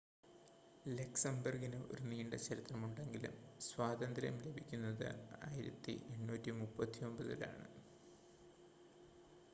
ലക്സംബർഗിന് ഒരു നീണ്ട ചരിത്രമുണ്ടെങ്കിലും സ്വാതന്ത്ര്യം ലഭിക്കുന്നത് 1839-ലാണ്